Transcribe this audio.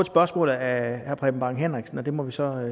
spørgsmål af herre preben bang henriksen og det må vi så